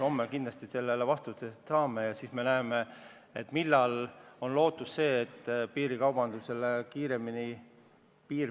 Homme me kindlasti mõningad vastused saame ja siis ehk saab selgemaks, millal võib loota piirikaubanduse vaibumist.